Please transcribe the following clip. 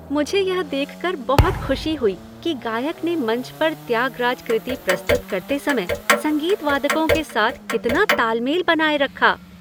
मुझे यह देखकर बहुत खुशी हुई कि गायक ने मंच पर त्यागराज कृति प्रस्तुत करते समय संगीत वादकों के साथ कितना ताल मेल बनाए रखा।